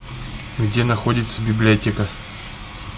где находится библиотека